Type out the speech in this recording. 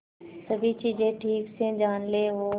सभी चीजें ठीक से जान ले और